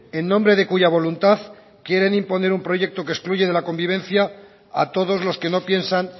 en nombre de cuya voluntad quieren imponer un proyecto que excluye de la convivencia a todos los que no piensan